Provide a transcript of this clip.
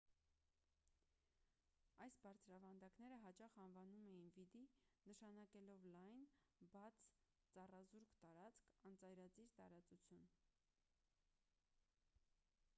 այս բարձրավանդակները հաճախ անվանում էին վիդի նշանակելով լայն բաց ծառազուրկ տարածք անծայրածիր տարածություն